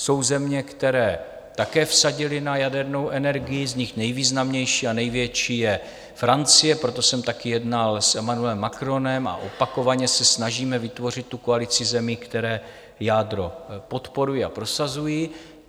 Jsou země, které také vsadily na jadernou energii, z nich nejvýznamnější a největší je Francie, proto jsem také jednal s Emmanuelem Macronem a opakovaně se snažíme vytvořit tu koalici zemí, které jádro podporují a prosazují.